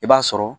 I b'a sɔrɔ